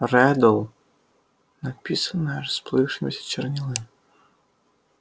реддл написанное расплывшимися чернилами